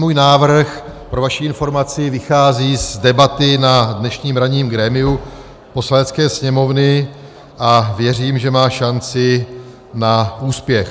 Můj návrh, pro vaši informaci, vychází z debaty na dnešním ranním grémiu Poslanecké sněmovny a věřím, že má šanci na úspěch.